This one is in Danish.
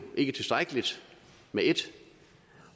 ikke tilstrækkeligt med et